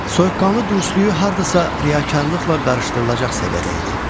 Soyuqqanlı dürüstlüyü hardasa riyakarlıqla qarışdırılacaq səviyyədə idi.